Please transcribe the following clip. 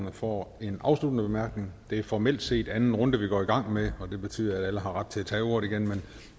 at få en afsluttende bemærkning det er formelt set anden runde vi går i gang med og det betyder at alle har ret til at tage ordet igen